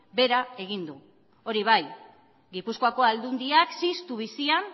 behera egin du hori bai gipuzkoako aldundiak ziztu bizian